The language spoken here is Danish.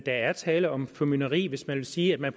der er tale om formynderi hvis man siger